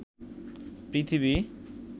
পৃথিবী